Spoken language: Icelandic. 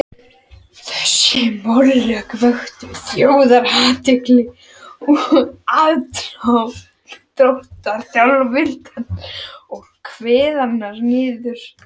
Þessi málalok vöktu þjóðarathygli, og aðdróttanir Þjóðviljans voru kveðnar niður.